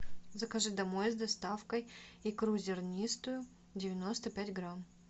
закажи домой с доставкой икру зернистую девяносто пять грамм